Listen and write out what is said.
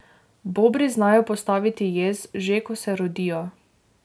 Bobri znajo postaviti jez, že ko se rodijo.